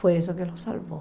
Foi isso que o salvou.